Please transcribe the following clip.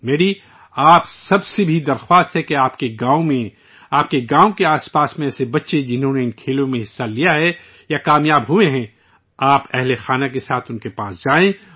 میری آپ سب سے بھی گزارش ہے آپ کے گاؤں میں، آپ کے گاؤں کے ارد گرد، ایسے بچے جنہوں نے اس کھیل کود میں حصہ لیا ہے یا فاتح ہوئے ہیں، آپ معہ خاندان ان کے ساتھ جائیے